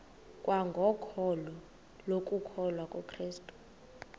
kwangokholo lokukholwa kukrestu